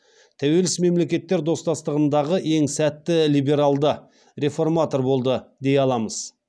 тәуелсіз мемлекеттер достастығындағы ең сәтті либералды реформатор болды дей аламыз